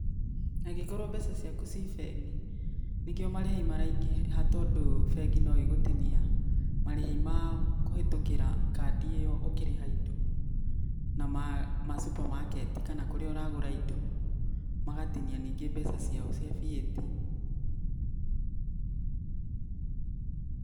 Angĩkorwo mbeca ciaku ci bengĩ nĩkĩo marĩhi maraingĩha tondũ bengi no igũtinia marĩhi mao kũhĩtũkĩra kandi ĩyo ũkĩrĩha indo na ma sũpermarket kana kũrĩa ũragũra indo magatinia ningĩ mbeca ciao cia VAT.